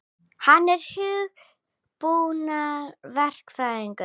Hann er hugbúnaðarverkfræðingur.